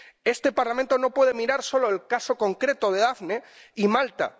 Este Parlamento no puede mirar solo el caso concreto de Daphne y Malta.